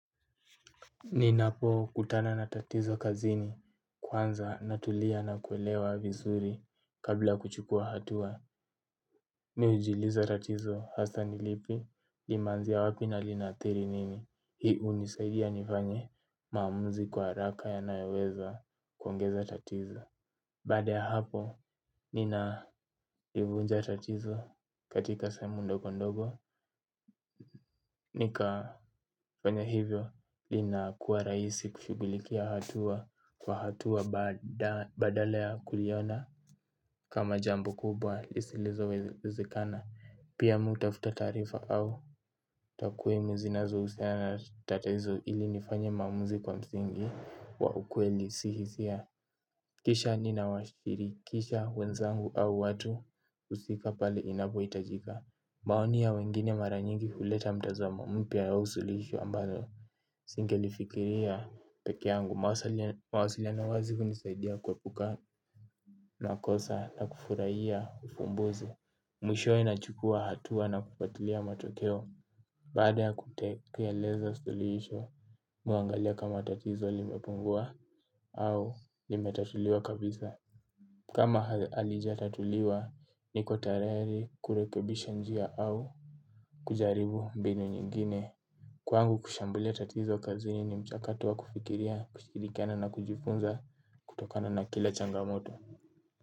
Ninapo kutana na tatizo kazini kwanza natulia na kuelewa vizuri kabla kuchukua hatua. Mi hujiuliza tatizo hasa nilipi limaanzia wapi na linathiri nini. Hii hunisaidia nifanye maamuzi kwa haraka yanayoweza kuongeza tatizo. Baada ya hapo ninaivunja tatizo katika sehemu ndogo ndogo. Nika fanya hivyo lina kuwa rahisi kushughulikia hatua kwa hatua badala ya kuliona kama jambo kubwa lisilo wezekana pia mimi hutafuta taarifa au takwimu zinazohusiana na tatizo ili nifanye maamuzi kwa msingi wa ukweli si hisia. Kisha ninawashirikisha wenzangu au watu husika pale inapohitajika. Maoni ya wengine mara nyingi huleta mtazamo mpya ya usulisho ambayo singelifikiria pekea yangu mawasiliano wazi hunisaidia kuepuka makosa na kufurahia ufumbuzi. Mwishowe nachukua hatua na kufuatilia matokeo. Baada ya kutekeleza suluhisho mimi huangalia kama tatizo limepungua au limetatuliwa kabisa. Kama halijatatuliwa, niko tayari kurekebisha njia au kujaribu mbinu nyingine. Kwangu kushambulia tatizo kazini ni mchakato wa kufikiria kushirikiana na kujifunza kutokana na kile changamoto.